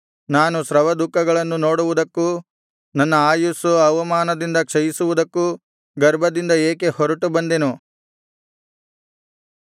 ನಾನು ಶ್ರಮದುಃಖಗಳನ್ನು ನೋಡುವುದಕ್ಕೂ ನನ್ನ ಆಯುಸ್ಸು ಅವಮಾನದಿಂದ ಕ್ಷಯಿಸುವುದಕ್ಕೂ ಗರ್ಭದಿಂದ ಏಕೆ ಹೊರಟು ಬಂದೆನು